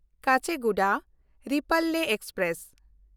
Kacheguda Repalle express